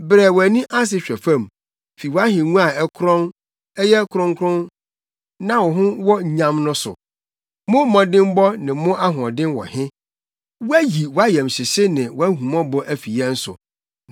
Brɛ wʼani ase hwɛ fam fi wʼahengua a ɛkorɔn, ɛyɛ kronkron na ho wɔ nyam no so. Mo mmɔdemmɔ ne mo ahoɔden wɔ he? Wɔayi wʼayamhyehye ne wʼahummɔbɔ afi yɛn so.